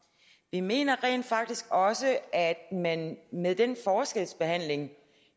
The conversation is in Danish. vi mener rent faktisk også at man med den forskelsbehandling